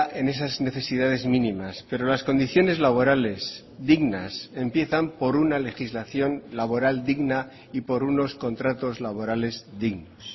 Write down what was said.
en esas necesidades mínimas pero las condiciones laborales dignas empiezan por una legislación laboral digna y por unos contratos laborales dignos